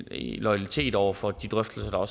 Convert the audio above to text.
loyalitet over for de drøftelser